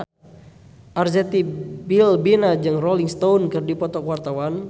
Arzetti Bilbina jeung Rolling Stone keur dipoto ku wartawan